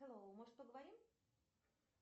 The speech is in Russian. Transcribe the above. хэллоу может поговорим